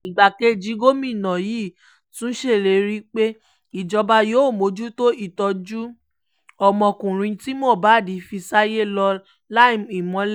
igbákejì gómìnà yìí tún ṣèlérí pé ìjọba yóò mójútó ìtọ́jú ọmọkùnrin tí mohbad fi sáyé lọ liam imole